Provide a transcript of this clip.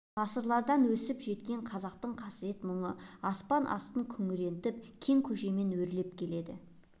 ғасырлардан өксіп жеткен қазақтың қасірет-мұңы аспан астын күңрентіп кең көшемен өрлеп келеді